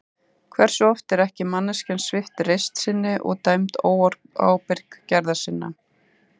Hversu oft er ekki manneskjan svipt reisn sinni og dæmd óábyrg gerða sinna?